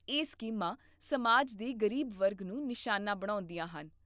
ਇਹ ਸਕੀਮਾਂ ਸਮਾਜ ਦੇ ਗਰੀਬ ਵਰਗ ਨੂੰ ਨਿਸ਼ਾਨਾ ਬਣਾਉਂਦੀਆਂ ਹਨ